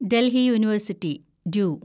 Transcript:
Delhi university (due)